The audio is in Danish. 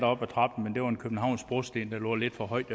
op ad trappen men der var en københavnsk brosten der lå lidt for højt